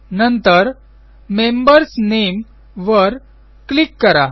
नंतर membersनामे वर क्लिक करा